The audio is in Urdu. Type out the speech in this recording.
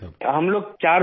ہم چار لوگ ہیں سر